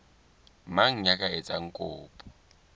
mang ya ka etsang kopo